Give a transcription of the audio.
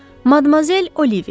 Madmazel Oliviya.